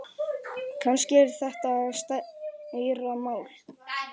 Kannski er þetta stærra mál.